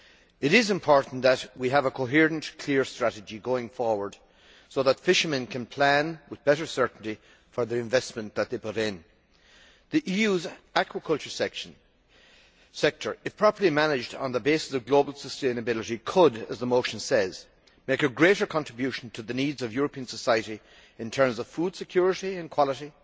It is important that we have a coherent and clear strategy going forward so that fishermen can plan with better certainty for the investment that they put in. The EU's aquaculture sector, if properly managed on the basis of global sustainability, could, as the motion says, make a greater contribution to the needs of European society in terms of food security and quality,